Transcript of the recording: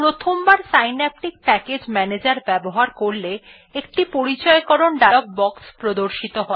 প্রথমবার Synaptic package manager ব্যবহার করলে একটি পরিচয়্করণ ডায়লগ বক্স প্রদর্শিত হয়